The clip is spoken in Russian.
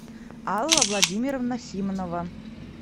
алла владимировна симонова